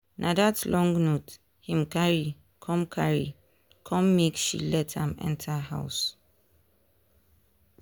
na that long note him carry come carry come make she let am enter house.